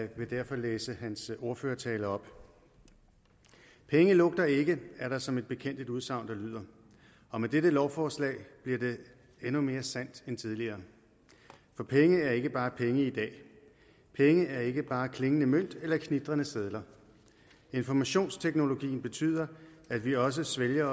vil derfor læse hans ordførertale op penge lugter ikke er der som bekendt et udsagn der lyder og med dette lovforslag bliver det endnu mere sandt end tidligere for penge er ikke bare penge i dag penge er ikke bare klingende mønt eller knitrende sedler informationsteknologien betyder at vi også svælger